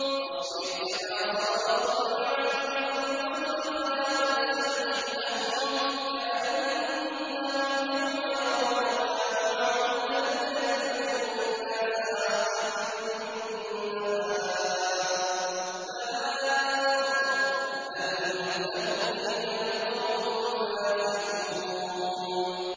فَاصْبِرْ كَمَا صَبَرَ أُولُو الْعَزْمِ مِنَ الرُّسُلِ وَلَا تَسْتَعْجِل لَّهُمْ ۚ كَأَنَّهُمْ يَوْمَ يَرَوْنَ مَا يُوعَدُونَ لَمْ يَلْبَثُوا إِلَّا سَاعَةً مِّن نَّهَارٍ ۚ بَلَاغٌ ۚ فَهَلْ يُهْلَكُ إِلَّا الْقَوْمُ الْفَاسِقُونَ